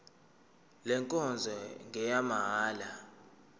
le nkonzo ngeyamahala